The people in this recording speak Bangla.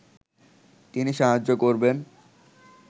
তিনি সাহায্য করবেন